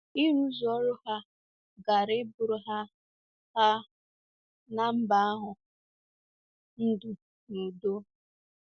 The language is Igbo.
Ịrụzu ọrụ ha gaara ịbụrụ ha ha na mba ahụ ndụ na udo.